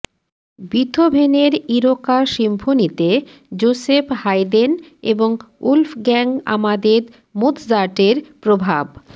বিথোভেনের Eroica সিম্ফনিতে Joseph Haydn এবং Wolfgang Amadeus মোৎসার্টের প্রভাব